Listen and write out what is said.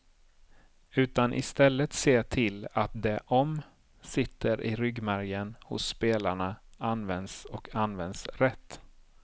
Utan istället se till att det om sitter i ryggmärgen hos spelarna används och används rätt.